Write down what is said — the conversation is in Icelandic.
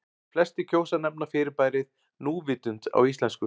Flestir kjósa að nefna fyrirbærið núvitund á íslensku.